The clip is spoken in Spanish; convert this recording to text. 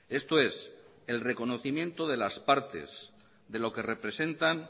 esto es el reconocimiento de las partes de lo que representan